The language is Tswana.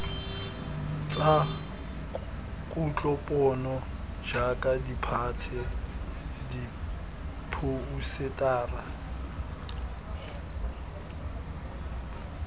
tsa kutlopono jaaka ditphate diphousetara